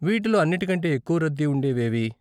వీటిలో అన్నిటికంటే ఎక్కువ రద్దీ ఉండేవి ఏవి?